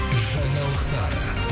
жаңалықтар